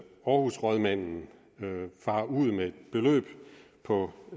aarhusrådmanden farer ud med et beløb på